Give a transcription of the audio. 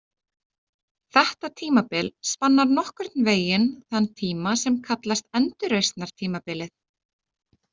Þetta tímabil spannar nokkurn veginn þann tíma sem kallast endurreisnartímabilið.